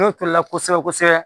N'o turula kosɛbɛ kosɛbɛ